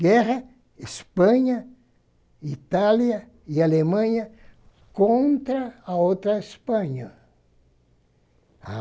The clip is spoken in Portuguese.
Guerra, Espanha, Itália e Alemanha contra a outra Espanha.